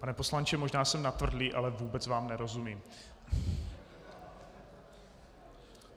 Pane poslanče, možná jsem natvrdlý, ale vůbec vám nerozumím.